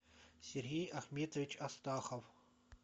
сергей ахметович астахов